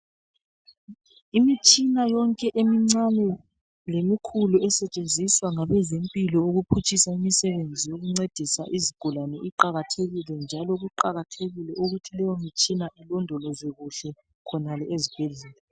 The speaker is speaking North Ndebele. Imitshina yonke emincane lemikhulu esetshenziswa ngabezempilo ukuphutshisa umsebenzi wokuncedisa izigulane iqakathekile njalo kuqakathekile ukuthi lowo mtshina uloodolozwe kuhle khonale ezibhedlela